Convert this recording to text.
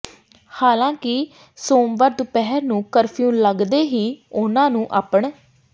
ਹਾਲਾਂਕਿ ਸੋਮਵਾਰ ਦੁਪਹਿਰ ਨੂੰ ਕਰਫਿਊ ਲੱਗਦੇ ਹੀ ਉਨ੍ਹਾਂ ਨੂੰ ਆਪਣ